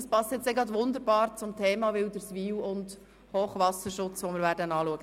Das passt gerade wunderbar zum Thema Wilderswil und Hochwasserschutz, das wir anschliessend beraten werden.